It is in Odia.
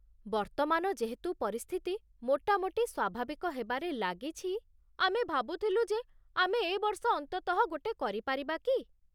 ବର୍ତ୍ତମାନ ଯେହେତୁ ପରିସ୍ଥିତି ମୋଟାମୋଟି ସ୍ୱାଭାବିକ ହେବାରେ ଲାଗିଛି, ଆମେ ଭାବୁଥିଲୁ ଯେ ଆମେ ଏବର୍ଷ ଅନ୍ତତଃ ଗୋଟେ କରିପାରିବା କି?